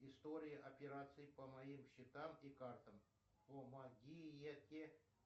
история операций по моим счетам и картам помогите